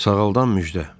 Sağaldan müjdə.